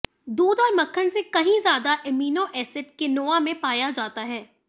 दूध और मक्खन से कहीं ज्यादा एमिनो एसिड किनोआ में पाया जाता है